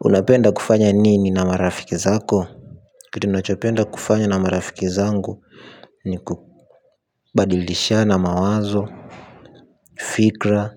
Unapenda kufanya nini na marafiki zako? Kitu nachopenda kufanya na marafiki zangu ni kubadilishana mawazo, fikra,